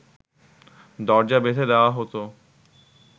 দরজা বেঁধে দেওয়া হতো